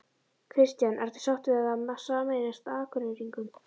Kristján: Ertu sáttur við það að sameinast Akureyringum?